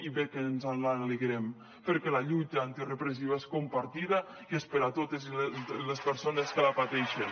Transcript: i bé que ens en alegrem perquè la lluita antirepressiva és compartida i és per a totes les persones que la pateixen